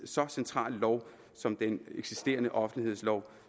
så central lov som den eksisterende offentlighedslov